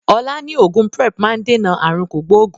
Ọlá ni oògùn Prep máa ń dènà aàrùn kògbógùn